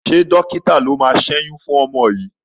Ṣé dọ́kítà ló máa ṣẹ́yún fún ọmọ yìí?